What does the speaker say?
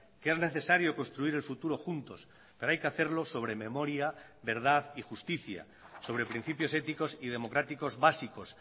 que es necesario construir el futuro juntos pero hay que hacerlo sobre memoria verdad y justicia sobre principios éticos y democráticos básicos